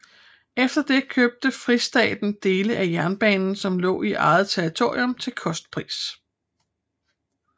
Efter det købte Fristaten dele af jernbanen som lå i eget territorium til kostpris